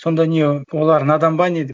сонда не олар надан ба не деп